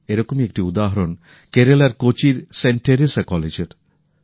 এরকমই একটি উদাহরণ কেরেলার কোচির সেন্ট টেরেসা কলেজের